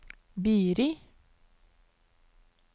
Biri